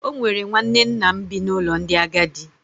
O nwere nwanne nna m bi n’ụlọ ndị agadi.